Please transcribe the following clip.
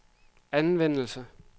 anvendelse